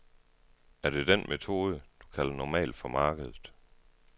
Er det den metode, du kalder normal for markedet?